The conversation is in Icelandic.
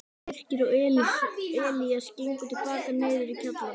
Birkir og Elías gengu til baka niður í kjallarann.